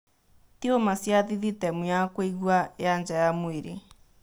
Tiuma cia thithitemu ya kũigua ya nja ya mwĩrĩ.